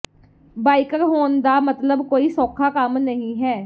biker ਹੋਣ ਦਾ ਮਤਲਬ ਕੋਈ ਸੌਖਾ ਕੰਮ ਨਹੀਂ ਹੈ